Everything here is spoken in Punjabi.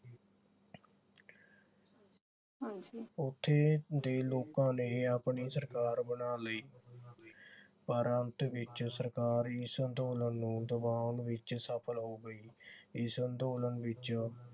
ਉਥੇ ਦੇ ਲੋਕਾਂ ਨੇ ਆਪਣੀ ਸਰਕਾਰ ਬਣਾ ਲਈ ਪਰ ਅੰਤ ਵਿਚ ਸਰਕਾਰ ਇਸ ਅੰਦੋਲਨ ਨੂੰ ਦਬਾਉਣ ਵਿਚ ਸਫਲ ਹੋ ਗਈ। ਇਸ ਅੰਦੋਲਨ ਵਿਚ